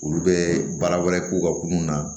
Olu bɛ baara wɛrɛ k'u ka kunun na